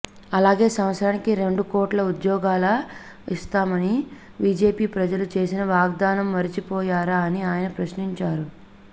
అలాగే సంవత్సరానికి రెండు కోట్ల ఉద్యోగాల ఇస్తామని బిజెపి ప్రజలకు చేసిన వాగ్దానం మర్చిపోయారా అని ఆయన ప్రశ్నించారు